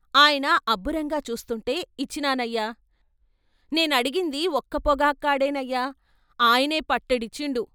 ఆయన అబ్బురంగా చూస్తుంటే ఇచ్చినానయ్య, నేనడిగింది ఒక్క పొగాక్కాడేనయ్యా, ఆయనే పట్టెడించిండు.